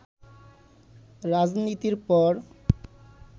রাজনীতির পর